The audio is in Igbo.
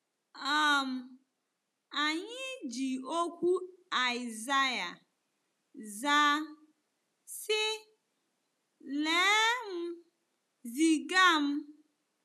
um Anyị ji okwu Aịsaịa zaa, sị: “Lee m, ziga m.”